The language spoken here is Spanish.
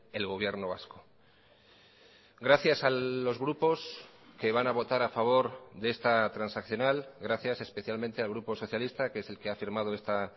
el gobierno vasco gracias a los grupos que van a votar a favor de esta transaccional gracias especialmente al grupo socialista que es el que ha firmado esta